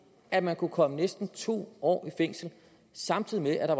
at man kunne komme næsten to år i fængsel samtidig med at der